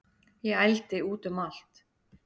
Ég ældi út um allt